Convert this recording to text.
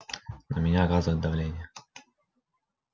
на меня оказывают давление